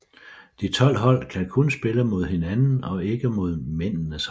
De 12 hold kan kun spille mod hinanden og ikke mod mændenes hold